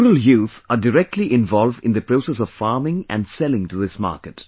The rural youth are directly involved in the process of farming and selling to this market